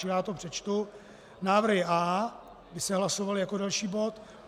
Čili já to přečtu: návrhy A by se hlasovaly jako další bod.